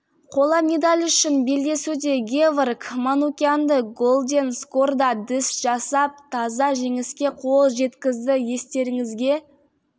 қола медаль үшін белдесуде геворг манукянды голден скорда діс жасап таза жеңіске қол жеткізді естеріңізге